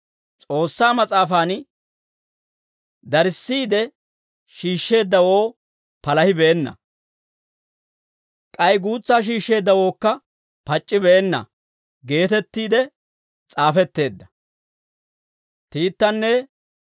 S'oossaa Mas'aafan, «Darissiide shiishsheeddawoo palahibeenna; k'ay guutsaa shiishsheeddawookka pac'c'ibeenna» geetettiide s'aafetteedda.